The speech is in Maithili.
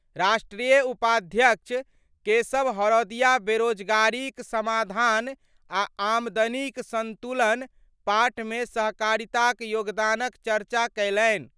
राष्ट्रीय उपाध्यक्ष केशव हरौदिया बेरोजगारी क समाधान आ आमदनी क असंतुलन पाट मे सहकारिता क योगदान क चर्चा कयलनि।